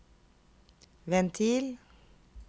ventil